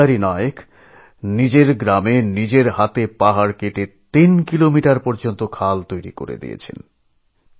দৈতারী নায়ক নিজের গ্রামে নিজের হাতে পাহাড় কেটে তিন কিলোমিটার দীর্ঘ খাল বানিয়েছেন